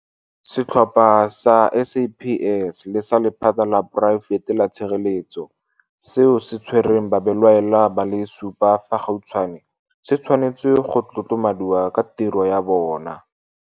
Setlhopha sa SAPS le sa lephata la poraefete la tshireletso seo se tshwereng babelaelwa ba le supa fa gautshwane se tshwanetse go tlotlomadiwa ka tiro ya bona.